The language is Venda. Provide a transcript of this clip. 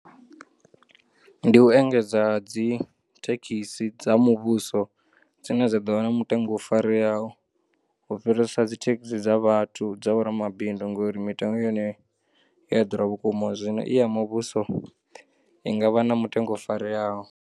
Ndi u engedzwa ha dzithekisi dza muvhuso dzine dza ḓovha na mutengo u fareyaho u fhirisa dzithekisi dza vhathu dza vhoramabindu ngauri mitengo ya hone i yaḓura vhukuma zwino iya muvhuso, i ngavha na mutengo u fareyaho.